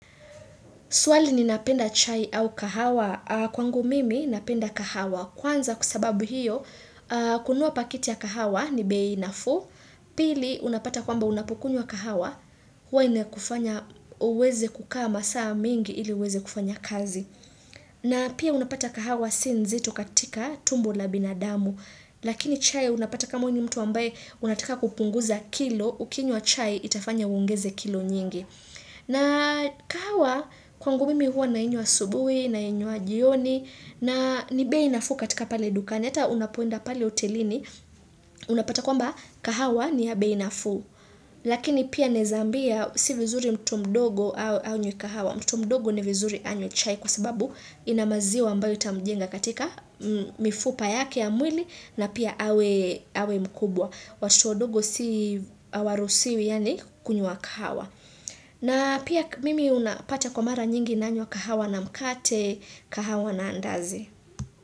Swali ni napenda chai au kahawa? Kwangu mimi napenda kahawa. Kwanza kwa sababu hiyo, kununua pakiti ya kahawa ni bei nafuu, Pili unapata kwamba unapokunyua kahawa, huwa inakufanya uweze kukaa masaa mingi ili uweze kufanya kazi. Na pia unapata kahawa sii nzito katika tumbo la binadamu, lakini chai unapata kama wewe ni mtu ambaye unataka kupunguza kilo, ukinywa chai itafanya uongeze kilo nyingi. Na kahawa kwangu mimi hua nainywa asubuhi, nainywa jioni, na ni bei nafuu katika pale dukani, hata unapoenda pale hotelini, unapata kwamba kahawa ni ya bei nafuu. Lakini pia naeza ambia si vizuri mtu mdogo anywe kahawa, mtu mdogo ni vizuri anywe chai kwa sababu ina maziwa ambayo itamjenga katika mifupa yake ya mwili na pia awe mkubwa. Watoto wadogo si, hawaruhusiwi yaani kunywa kahawa. Na pia mimi unapata kwa mara nyingi nanywa kahawa na mkate, kahawa na andazi.